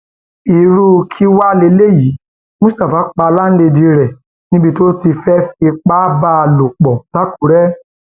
irú kí wàá lélẹyìí mustapha pa láńlẹdí rẹ níbi tó ti fẹẹ fipá bá a lò pọ lákùrẹ